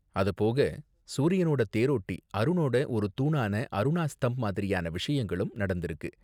அது போக சூரியனோட தேரோட்டி அருனோட ஒரு தூணான அருணா ஸ்தம்ப் மாதிரியான விஷயங்களும் நடந்திருக்கு.